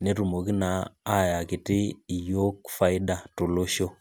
netumoki naa ayaki iyiok faida tolosho